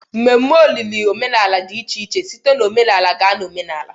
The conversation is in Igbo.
Mmeme olili na omenala dị iche iche site na omenala gaa na omenala